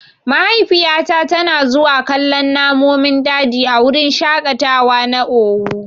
Mahaifiyata tana zuwa kallon namonin daji a wurin shaƙatawa na owu.